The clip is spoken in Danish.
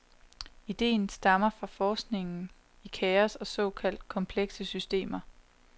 Ideen stammer fra forskningen i kaos og såkaldt komplekse systemer.